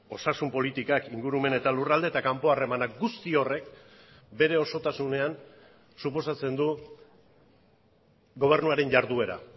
osasun politikak ingurumen eta lurralde eta kanpo harremanak guzti horrek bere osotasunean suposatzen du gobernuaren jarduera